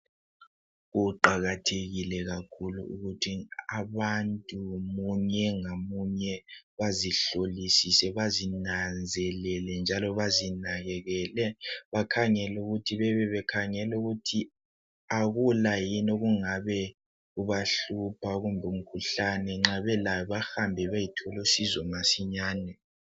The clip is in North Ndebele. Kuqakathekile kakhulu ukuthi abantu munye ngamunye, bazihlolisise, bazinanzelele njalo bazinakekele. Bakhangel'ukuthi bebebekhangel'ukuthi akula yini okungabe kubahlupha kumbe umkhuhlane. Nxa belawo bahambe beyethola usizo masinyane.